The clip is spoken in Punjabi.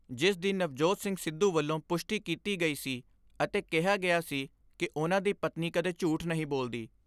ਜਿਸ ਦੀ ਨਵਜੋਤ ਸਿੰਘ ਸਿੱਧੂ ਵੱਲੋਂ ਪੁਸ਼ਟੀ ਕੀਤੀ ਗਈ ਸੀ ਅਤੇ ਕਿਹਾ ਗਿਆ ਸੀ ਕਿ ਉਨ੍ਹਾਂ ਦੀ ਪਤਨੀ ਕਦੇ ਝੂਠ ਨਹੀਂ ਬੋਲਦੀ।